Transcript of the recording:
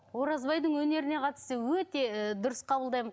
оразбайдың өнеріне қатысты өте ы дұрыс қабылдаймын